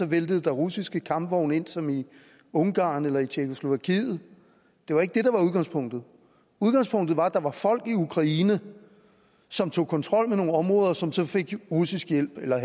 væltede russiske kampvogne ind som i ungarn eller i tjekkoslovakiet det var ikke det der var udgangspunktet udgangspunktet var at der var folk i ukraine som tog kontrol med nogle områder som så fik russisk hjælp eller